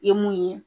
I ye mun ye